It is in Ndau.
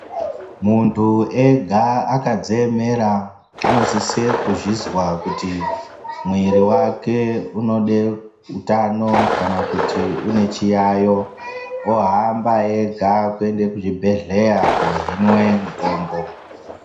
Muntu ega akadziemera unosisa kuzvinzwa kuti mwiri wake unoda utano kanakuti une chiyayo ohamba ega kuenda kuchibhehleya kundohinwa mutombo.